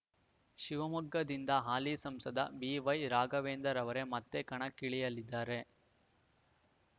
ಶಿವಮೊಗ್ಗದಿಂದ ಹಾಲಿ ಸಂಸದ ಬಿವೈರಾಘವೇಂದ್ರ ರವರೇ ಮತ್ತೆ ಕಣಕ್ಕಿಳಿಯಲಿದ್ದಾರೆ